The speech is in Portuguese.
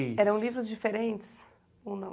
Mas eram livros diferentes ou não?